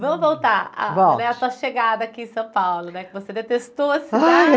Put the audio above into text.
Vamos voltar à sua chegada aqui em São Paulo né, que você detestou a